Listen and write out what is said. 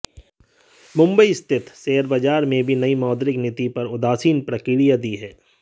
मुंबई स्थित शेयर बाजार ने भी नयी मौद्रिक नीति पर उदासीन प्रतिक्रिया दी है